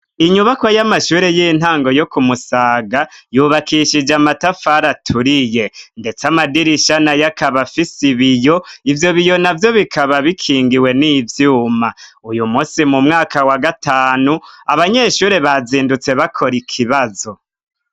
Inyubako y'amashuri y'intango yo kumusaga yubakishije amatafari aturiye ndetse amadirisha nayo akaba afisi biyo ivyo biyo navyo bikaba bikingiwe n'ivyuma uyu munsi mu mwaka wa gatanu abanyeshuri bazindutse bakora ikibazo.